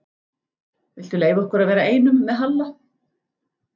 Viltu leyfa okkur að vera einum með Halla?